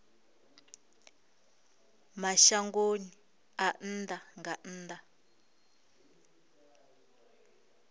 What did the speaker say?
mashangoni a nnḓa nga nnḓa